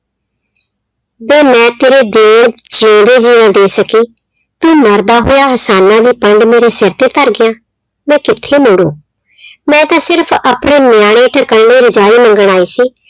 ਵੇ ਮੈਂ ਤੇਰੇ ਦੇਣ ਜਿਉਂਦੇ ਜੀਅ ਨਾ ਦੇ ਸਕੀ, ਤੂੰ ਮਰਦਾ ਹੋਇਆ ਅਹਿਸਾਨਾਂ ਦੀ ਪੰਡ ਮੇਰੇ ਸਿਰ ਤੇ ਧਰ ਗਿਆ, ਮੈਂ ਕਿੱਥੇ ਮੋੜੂ ਮੈਂ ਤਾਂ ਸਿਰਫ਼ ਆਪਣੇ ਨਿਆਣੇ ਢਕਣ ਲਈ ਰਜਾਈ ਮੰਗਣ ਆਈ ਸੀ,